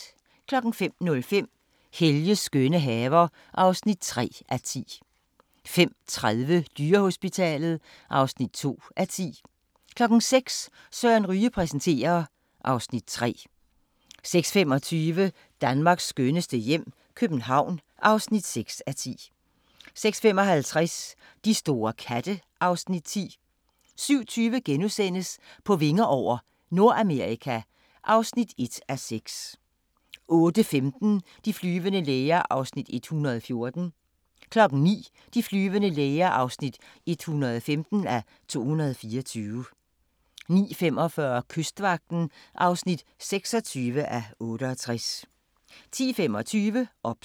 05:05: Helges skønne haver (3:10) 05:30: Dyrehospitalet (2:10) 06:00: Søren Ryge præsenterer (Afs. 3) 06:25: Danmarks skønneste hjem - København (6:10) 06:55: De store katte (Afs. 10) 07:20: På vinger over – Nordamerika (1:6)* 08:15: De flyvende læger (114:224) 09:00: De flyvende læger (115:224) 09:45: Kystvagten (26:68) 10:25: OBS